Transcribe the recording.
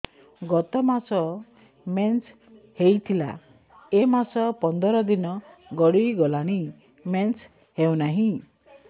ଗତ ମାସ ମେନ୍ସ ହେଇଥିଲା ଏ ମାସ ପନ୍ଦର ଦିନ ଗଡିଗଲାଣି ମେନ୍ସ ହେଉନାହିଁ